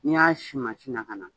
N y'a si mansin na ka na